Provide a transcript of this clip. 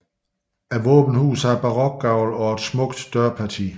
Våbenhuset har barokgavl og et smukt dørparti